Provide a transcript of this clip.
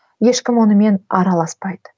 ешкім онымен араласпайды